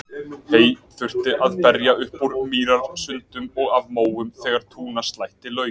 Hey þurfti að berja upp úr mýrasundum og af móum þegar túnaslætti lauk.